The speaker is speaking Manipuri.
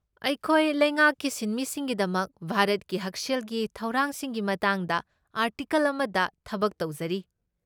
ꯑꯩꯈꯣꯏ ꯂꯩꯉꯥꯛꯀꯤ ꯁꯤꯟꯃꯤꯁꯤꯡꯒꯤꯗꯃꯛ ꯚꯥꯔꯠꯀꯤ ꯍꯛꯁꯦꯜꯒꯤ ꯊꯧꯔꯥꯡꯁꯤꯡꯒꯤ ꯃꯇꯥꯡꯗ ꯑꯥꯔꯇꯤꯀꯜ ꯑꯃꯗ ꯊꯕꯛ ꯇꯧꯖꯔꯤ ꯫